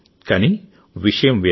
కానీ విషయం వేరు